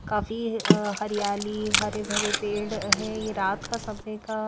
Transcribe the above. काफी हरियाली हरे भरे पेड़ हैं ये रात का समय का।